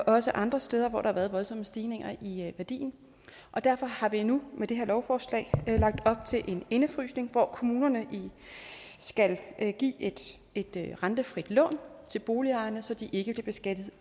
også andre steder hvor der har været voldsomme stigninger i værdien og derfor har vi nu med det her lovforslag lagt op til en indefrysning hvor kommunerne skal give et rentefrit lån til boligejerne så de ikke bliver beskattet